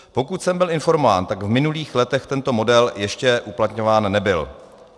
Pokud jsem byl informován, tak v minulých letech tento model ještě uplatňován nebyl.